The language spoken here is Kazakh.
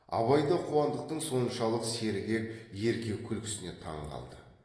абай да қуандықтың соншалық сергек ерке күлкісіне таңқалды